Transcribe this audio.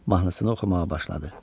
Mahnısını oxumağa başladı.